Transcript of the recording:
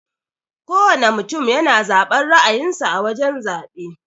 Kowana mutum yana zaben ra'ayin sa a wajan zabe.